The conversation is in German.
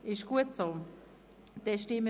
– Das ist auch nicht der Fall.